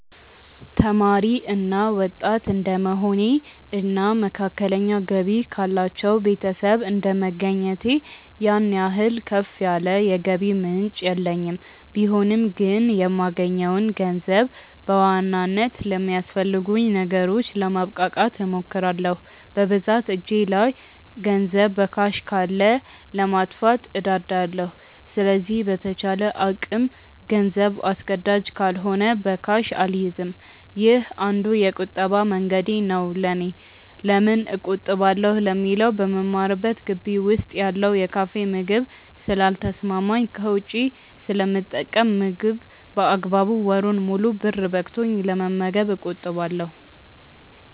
ተማሪ እና ወጣት እድንደመሆኔ እና መካከለኛ ገቢ ካላቸው ቤተሰብ እንደመገኘቴ ያን ያህል ከፍ ያለ የገንዘብ ምንጭ የለኝም ቢሆንም ግን የማገኘውን ገንዘብ በዋናነት ለሚያስፈልጉኝ ነገሮች ለማብቃቃት እሞክራለው። በብዛት እጄ ላይ ገንዘብ በካሽ ካለ ለማጥፋት እንደዳለው ስለዚህ በተቻለ አቅም ገንዘብ አስገዳጅ ካልሆነ በካሽ አልይዝም። ይህ አንዱ የቁጠባ መንገዴ ነው ለኔ። ለምን እቆጥባለው ለሚለው በምማርበት ግቢ ውስጥ ያለው የካፌ ምግብ ስለ ልተሰማማኝ ከውጪ ስለምጠቀም ምግብ በአግባቡ ወሩን ሙሉ ብር በቅቶኝ ለመመገብ እቆጥባለው።